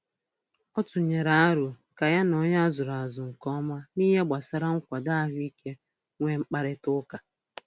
Ọ tụnyere arọ ka ya na onye a zụrụ azụ nke ọma n'ihe gbasara nkwado ahụikeuche nwee mkparịtaụka.